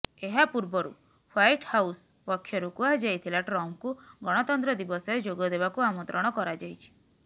ଏହା ପୂର୍ବରୁ White House ପକ୍ଷରୁ କୁହାଯାଇଥିଲା ଟ୍ରମ୍ପଙ୍କୁ ଗଣତନ୍ତ୍ର ଦିବସରେ ଯୋଗ ଦେବାକୁ ଆମନ୍ତ୍ରଣ କରାଯାଇଛି